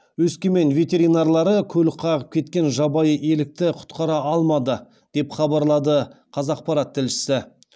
өскемен ветеринарлары көлік қағып кеткен жабайы елікті құтқара алмады деп хабарлады қазақпарат тілшісі